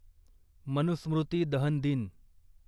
मनुस्मृती दहन दिन